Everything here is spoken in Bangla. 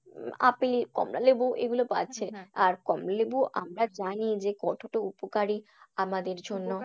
আপেল কমলালেবু এগুলো আর কমলালেবু আমরা জানি যে কতটা উপকারী আমাদের জন্য।